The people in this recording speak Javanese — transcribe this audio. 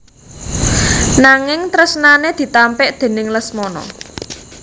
Nanging tresnane ditampik déning Lesmana